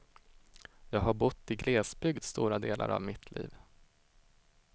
Jag har bott i glesbygd stora delar av mitt liv.